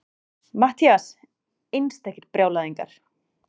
MATTHÍAS: Einstakir brjálæðingar!